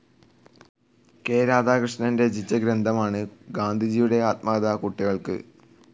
K Radhakrishnan രചിച്ച ഗ്രന്ഥമാണ് ഗാന്ധിജിയുടെ ആത്മകഥ കുട്ടികൾക്ക്.